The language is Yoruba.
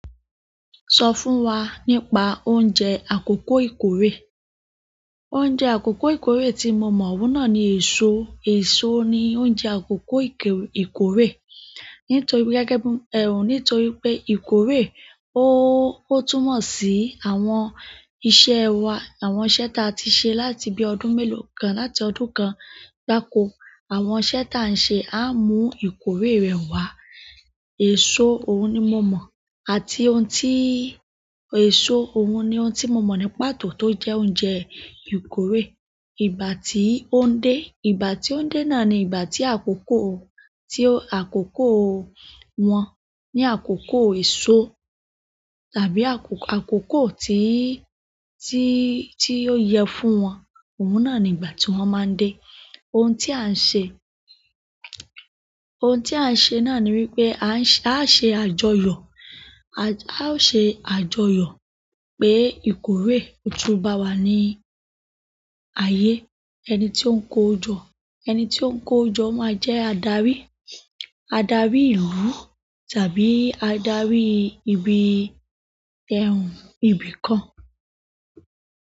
Sọ fún wa nípa oúnjẹ àkọ́kọ́ ìkórè. Oúnjẹ àkọ́kọ́ ìkórè tí mo mọ̀ òun náà ni èso. Èso ni oúnjẹ àkókò ìkórè. Nítorí gẹ́gẹ́ bí ẹ̀rùn, nítorí pé ìkórè ó ó túmọ̀ sí àwọn iṣẹ́ wa àwọn iṣẹ́ tá ti se láti bí ọdún mélòó kan, láti ọdún kan gbáko àwọn iṣẹ́ ta ń ṣe, a mú ìkórè rẹ̀ wá. Èso, òun ni mo mọ̀. Àti ohun tí èso, òun ni ohun tí mo mọ̀ ní pàtó tó jẹ́ oúnjẹ ìkórè. Ìgbà tí ó ń dé, ìgbà tí ó ń dé náà ni ìgbà tí àkọ́kọ́, tí àkọ́kọ́ wọn ní àkọ́kọ́ èso tàbí àkókò tí, tí, tí ó yẹ fún wọn. Òun náà ni ìgbà tí wọ́n máa ń dé. Ohun tí à ń ṣe, ohun tí à ń ṣe náà ni wípé à ń ṣe, a ṣe àjọyọ̀. A ó ṣe àjọyọ̀ pé ìkórè tú bá wa ní ayé. Ẹni tí ó ń ko jọ ẹni tí ó ń ko jọ náà jẹ́ adarí, adarí ìlú tàbí adarí ibi ẹrùn, ibi kan.